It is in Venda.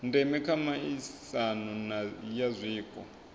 ndeme kha miaisano ya zwiko